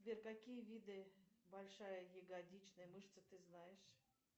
сбер какие виды большая ягодичная мышца ты знаешь